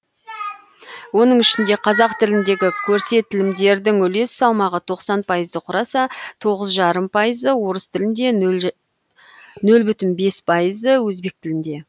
оның ішінде қазақ тіліндегі көрестілімдердің үлес салмағы тоқсан пайызды құраса тоғыз жарым пайызы орыс тілінде нөл бүтін бес пайыз өзбек тілінде